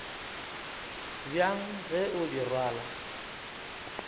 bjang ge o di rwala